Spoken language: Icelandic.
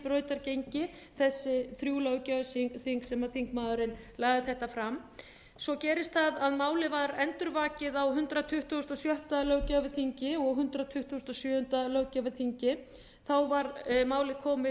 brautargengi þessi þrjú löggjafarþing sem maðurinn lagði þetta fram svo gerist það að málið var endurvakið á hundrað tuttugasta og sjötta löggjafarþingi og hundrað tuttugasta og sjöunda löggjafarþingi þá var málið komið